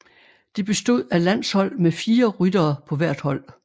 Det bestod af landshold med fire ryttere på hvert hold